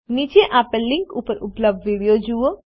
નીચે આપેલ લીન્ક ઉપર ઉપલબ્ધ વિડીઓ જુઓ